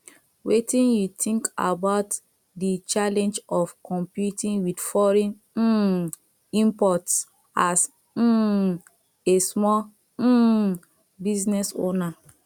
wetin you think about di challenge of competing with foreign um imports as um a small um business owner